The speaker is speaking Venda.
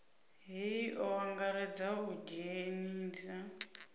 hei o angaredza u idzhenisa